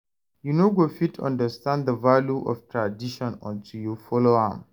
You no go fit understand the value of tradition until you follow am.